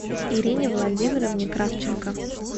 ирине владимировне кравченко